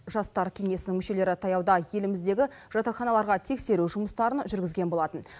жастар кеңесінің мүшелері таяуда еліміздегі жатақханаларға тексеру жұмыстарын жүргізген болатын